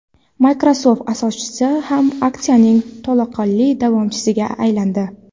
Microsoft asoschisi ham aksiyaning to‘laqonli davomchisiga aylandi.